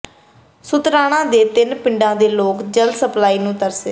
ਸ਼ੁਤਰਾਣਾ ਦੇ ਤਿੰਨ ਪਿੰਡਾਂ ਦੇ ਲੋਕ ਜਲ ਸਪਲਾਈ ਨੂੰ ਤਰਸੇ